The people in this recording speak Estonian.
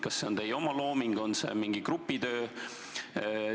Kas see on teie oma looming või on see mingi grupi töö?